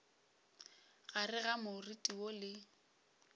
gare ga moriti woo le